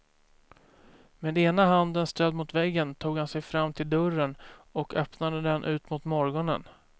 Med ena handen stödd mot väggen tog han sig fram till dörren och öppnade den ut mot morgonen.